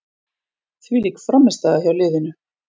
Þvílík frammistaða hjá liðinu.